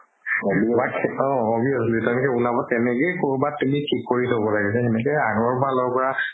অ তেনেকে উলাব সেনেকে কৰোবাত তুমি থিক কৰি থব লাগিব সেনেকে আগৰ ফালৰ পা